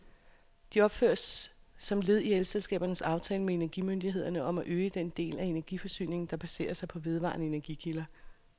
De opføres som led i elselskabernes aftale med energimyndighederne om at øge den del af energiforsyningen, der baserer sig på vedvarende energikilder.